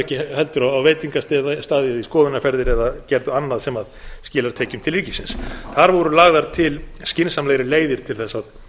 ekki heldur á veitingastaði eða í skoðunarferðir eða gerðu annað sem skilar tekjum til ríkisins þar voru lagðar til skynsamlegri leiðir til þess að